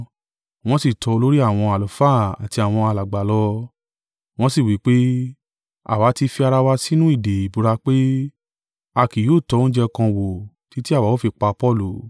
Wọ́n sì tọ olórí àwọn àlùfáà àti àwọn alàgbà lọ, wọn sì wí pé, “Àwa tí fi ara wa sínú ìdè ìbúra pé, a kì yóò tọ́ oúnjẹ kan wò títí àwa ó fi pa Paulu.